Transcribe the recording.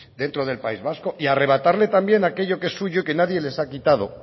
dentro del país vasco y arrebatarle también aquello que es suyo y que nadie les ha quito